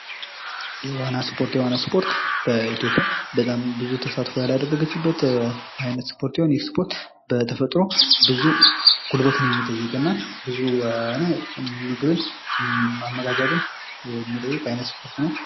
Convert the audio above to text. የዋና ስፖርት ። የዋና ስፖርት በኢትዮጵያ በጣም ብዙ ተሳትፎ ያላደረገችበት አይነት ስፖርት ሲሆን ይህ ስፖርት በተፈጥሮው ብዙ ጉልበትን ሚጠይቅ እና ብዙ ምግብን አመጋገብን የሚጠይቅ አይነት ስፖርት ነው ።